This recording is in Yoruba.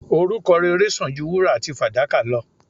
Orúkọ rere sàn ju wúrà àti fàdákà lọ.